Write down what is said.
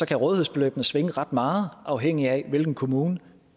kan rådighedsbeløbene svinge ret meget afhængig af hvilken kommune